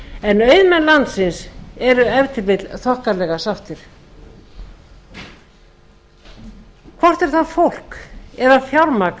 en auðmenn landsins eru ef til vill þokkalega sáttir hvort er það fólk eða fjármagn